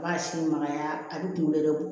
A b'a si magaya a bi kunkolo yɛrɛ bɔ